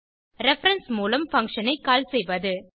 reference மூலம் function ஐ கால் செய்வது